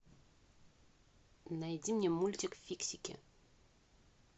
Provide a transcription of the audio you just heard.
найди мне мультик фиксики